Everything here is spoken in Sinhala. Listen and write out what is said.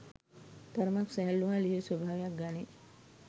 තරමක් සැහැල්ලු හා ලිහිල් ස්වභාවයක් ගනී.